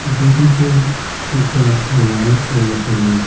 যরিদের পুশাক লাল ও হলুদ।